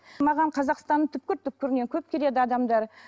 маған қазақстанның түпкір түпкірінен көп келеді адамдар